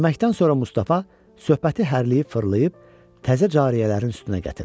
Yeməkdən sonra Mustafa söhbəti hərliyib fırlayıb təzə cariyələrin üstünə gətirir.